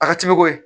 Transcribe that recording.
A ka ca bɛ bɔ yen